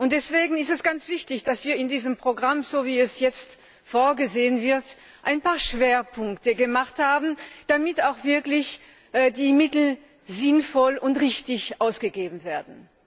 Deswegen ist es ganz wichtig, dass wir in diesem Programm, so wie es jetzt vorgesehen ist, ein paar Schwerpunkte gesetzt haben, damit die Mittel auch wirklich sinnvoll und richtig ausgegeben werden.